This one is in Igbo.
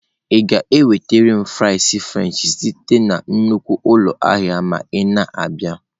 Ị ga-enweta m fries french site na nnukwu ụlọ ahịa mgbe ị na-abịa?